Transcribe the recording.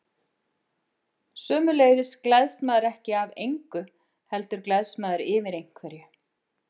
Sömuleiðis gleðst maður ekki af engu, heldur gleðst maður yfir einhverju.